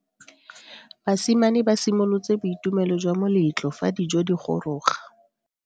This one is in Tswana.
Basimane ba simolotse boitumelo jwa moletlo fa dijo di goroga.